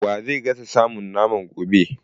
Wa zai gasa samun naman a gobe?